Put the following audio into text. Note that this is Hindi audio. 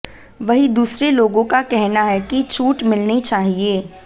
वहीं दूसरे लोगों का कहना है कि छूट मिलनी चाहिए